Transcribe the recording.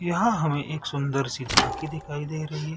यहाँ हमें एक सूंदर सी झाकी दिखाई दे रही है।